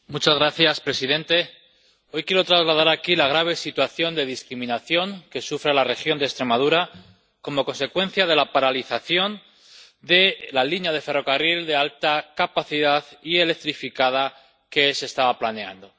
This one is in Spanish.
Señor presidente, hoy quiero trasladar aquí la grave situación de discriminación que sufre la región de Extremadura como consecuencia de la paralización de la línea de ferrocarril de alta capacidad y electrificada que se estaba planeando.